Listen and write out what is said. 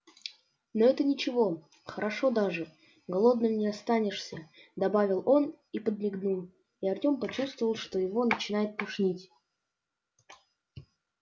но это ничего хорошо даже голодным не останешься добавил он и подмигнул и артём почувствовал что его начинает тошнить